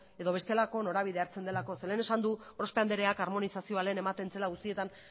edo bestelako norabidea hartzen delako zeren eta lehen esan du gorospe andreak harmonizazioa lehen ematen zela guztietan